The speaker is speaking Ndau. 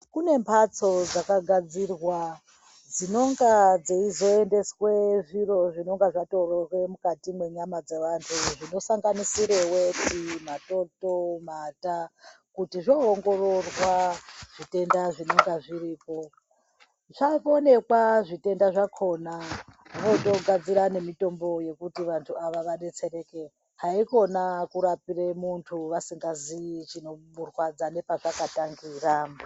Kune mhatso dzakagadzirwa dzinenge dzeizoendeswe zviro zvinonga zvatorwe mukati mwenyama dzevanhu zvinosnagnisire weti, matoto, mata kuti zvoongororwa zvitenda zvinonga zviripo zvaonekwa zvitenda zvakona vozogadzira nemitombo yekuti vanhu ava vadetsereke haikona kurapire munhu vasingaziyi chinokurwadza nepachakatangira.